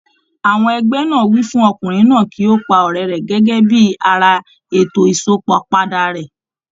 Àwọn ẹgbẹ́ náà wí fún Ọkùnrin náà kí ó pa ọ̀rẹ́ rẹ̀ gẹ́gẹ́ bí ara ètò Ìsópọ̀ padà rẹ̀.